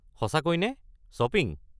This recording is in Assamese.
সঁচাকৈ নে? শ্বপিং?